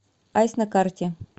айс на карте